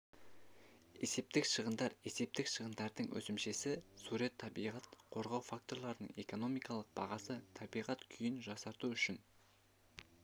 есептік шығындар есептік шығындардың өсімшесі сурет табиғат қорғау факторларының экономикалық бағасы табиғат күйін жақсарту үшін